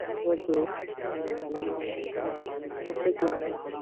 Okay. Okay madam.